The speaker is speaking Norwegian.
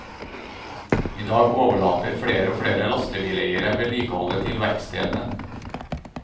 I dag overlater flere og flere lastebileiere vedlikeholdet til verkstedene.